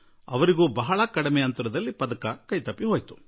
ಅತಿ ಚಿಕ್ಕ ಅಂತರದಲ್ಲಿ ಪದಕ ವಂಚಿತೆಯಾದರು